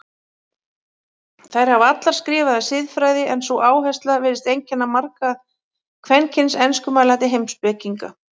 Þær hafa allar skrifað um siðfræði en sú áhersla virðist einkenna marga kvenkyns enskumælandi heimspekinga.